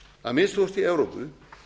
að minnsta kosti í evrópu